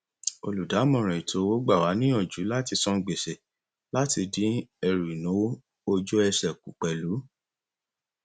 olùdámọràn etoowó gbàwà níyàjú láti san gbèsè láti dín ẹrù ináwó ojúesè kù pẹlú